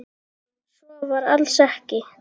Svo var alls ekki.